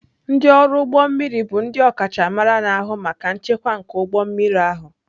Ndị ọrụ ụgbọ mmiri bụ ndị ọkachamara na-ahụ maka nchekwa nke ụgbọ mmiri ahụ.